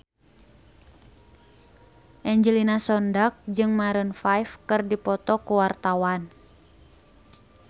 Angelina Sondakh jeung Maroon 5 keur dipoto ku wartawan